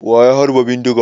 Wa ya harba bindiga?